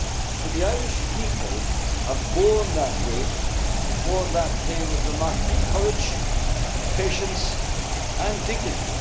homes. But the Irish people have borne that weight and that pain with remarkable courage and patience and